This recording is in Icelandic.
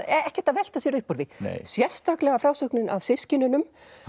ekkert að velta sér upp úr því sérstaklega frásögnin af systkinunum